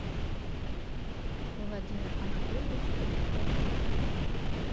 владимир анатольевич поляков